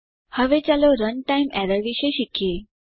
હવે ચાલો runtime errors વિશે શીખીએ